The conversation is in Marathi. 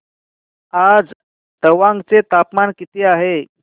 आज तवांग चे तापमान किती आहे